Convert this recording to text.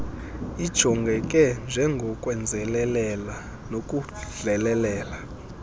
ijongeke njengokwenzelelela nokudlelelela